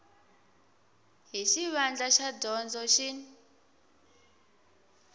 hi xivandla xa dyondzo xin